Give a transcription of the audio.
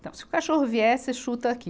Então, se o cachorro vier, você chuta aqui.